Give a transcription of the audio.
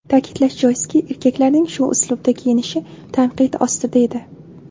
Ta’kidlash joizki, erkaklarning shu uslubda kiynishi tanqid ostida edi.